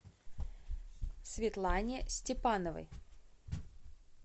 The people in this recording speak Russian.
светлане степановой